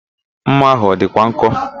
Ḿmà ahụ a dịkwa nkọ?